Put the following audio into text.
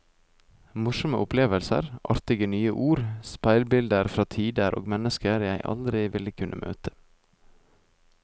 Morsomme opplevelser, artige nye ord, speilbilder fra tider og mennesker jeg aldri ville kunne møte.